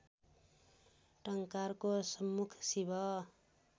टंकारको सम्मुख शिव